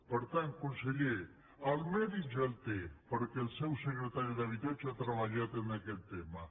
per tant conseller el medi ja el té perquè el seu secretari d’habitatge ha treballat en aquest tema